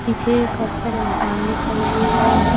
पीछे काफी सारे मकान दिखाई दे रहे हैं।